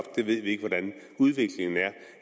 vi ved ikke hvordan udviklingen er